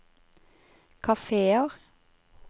kafeer